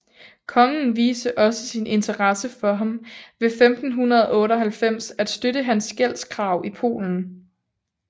Kongen viste også sin interesse for ham ved 1598 at støtte hans gældskrav i Polen